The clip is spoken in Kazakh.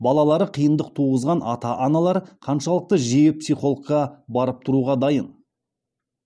балалары қиындық туғызған ата аналар қаншалықты жиі психологқа барып тұруға дайын